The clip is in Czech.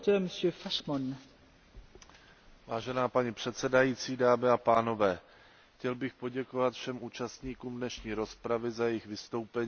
Vážená paní předsedající, chtěl bych poděkovat všem účastníkům dnešní rozpravy za jejich vystoupení, a to přesto, že ne se všemi souhlasím.